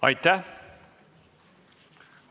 Aitäh!